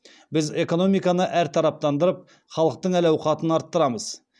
біз экономиканы әртараптандырып халықтың әл ауқатын арттырамыз